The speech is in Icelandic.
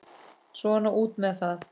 Svona út með það.